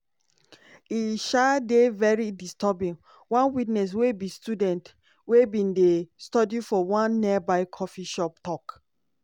"e um dey very disturbing" one witness wey be student wey bin dey study for one nearby coffee shop tok.